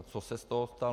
A co se z toho stalo?